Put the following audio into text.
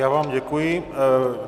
Já vám děkuji.